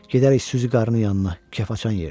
Gedərik Süzi Qarının yanına, kef açan yerdir.